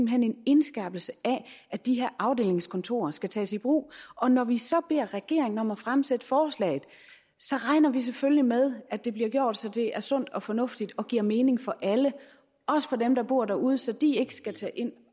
hen en indskærpelse af at de her afdelingskontorer skal tages i brug og når vi så beder regeringen om at fremsætte forslaget regner vi selvfølgelig med at det bliver gjort så det er sundt og fornuftigt og giver mening for alle også for dem der bor derude så de ikke skal tage ind